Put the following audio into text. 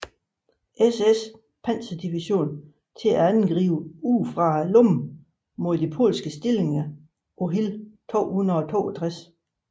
SS panserdivision til at angribe udefra lommen mod de polske stillinger på Hill 262